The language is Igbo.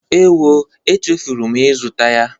Ewo, echefuru m ịzụta ya.